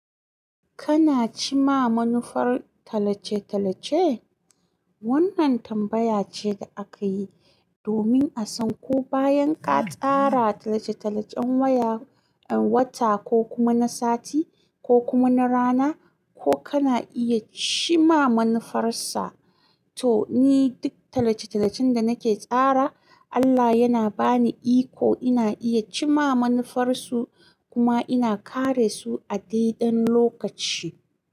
Kana cimma manufar talace-talace? Wannan tambaya ce da akayi domin a san ko bayan ka tsara talace-talacen waya, wata ko kuma na sati ko kuma na rana, ko kana iya cimma manufarsa. To ni duk tallace-tallacen da nake tsara, Allah yana bani iko ina iya cimma manufarsu kuma ina kare su a dai ɗan lokaci.